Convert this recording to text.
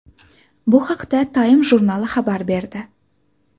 Bu haqda Time jurnali xabar berdi.